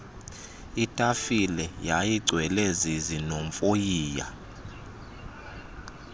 itafile yayigcwele zizinovoyiya